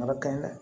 A ka ɲi dɛ